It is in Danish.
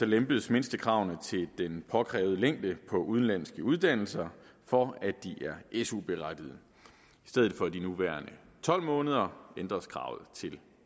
lempes mindstekravene til den påkrævede længde på udenlandske uddannelser for at de er su berettigede i stedet for de nuværende tolv måneder ændres kravet til